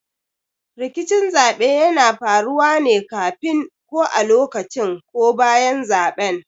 Rikicin zaɓe yana faruwa ne kafin, ko a lokacin ko bayan zaben.